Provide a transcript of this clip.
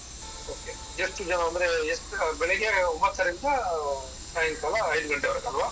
Okay ಎಷ್ಟು ಜನ ಅಂದ್ರೆ ಬೆಳ್ಳಿಗ್ಗೆ ಒಂಭತ್ತರಿಂದ ಸಾಯಂಕಾಲ ಐದು ಗಂಟೆವರೆಗೆ ಅಲ್ವಾ?